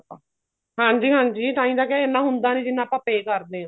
ਹਾਂਜੀ ਹਾਂਜੀ ਤਾਹੀਂ ਤਾਂ ਕਿਹਾ ਇੰਨਾ ਹੁੰਦਾ ਨੀ ਜਿੰਨਾ ਆਪਾਂ pay ਕਰਦੇ ਹਾਂ